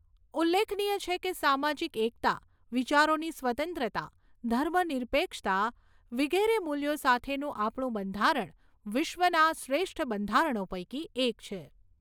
ઉલ્લેખનીય છે કે, સામાજીક એકતા, વિચારોની સ્વતંત્રતા, ધર્મ નિરપેક્ષતા વિગેરે મુલ્યો સાથેનું આપણું બંધારણ વિશ્વના શ્રેષ્ઠ બંધારણો પૈકી એક છે.